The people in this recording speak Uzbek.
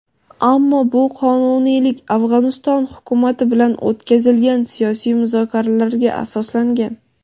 ammo bu qonuniylik "Afg‘oniston hukumati bilan o‘tkazilgan siyosiy muzokaralarga asoslangan".